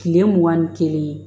Kile mugan ni kelen